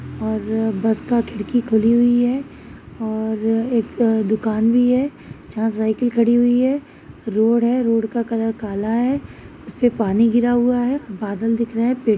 और बस का खिड़की खुली हुई है और एक दुकान भी है जहाँ साइकिल खड़ी हुई है। रोड है रोड का कलर काला है उस पे पानी गिरा हुआ है बादल दिख रह रहे हैं पेड़ --